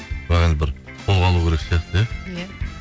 бірақ енді бір қолға алу керек сияқты иә иә